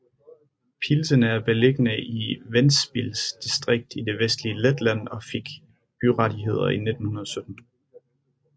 Piltene er beliggende i Ventspils distrikt i det vestlige Letland og fik byrettigheder i 1917